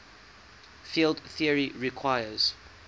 field theory requires